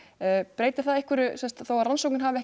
breytir það einhverju þó að rannsóknin hafi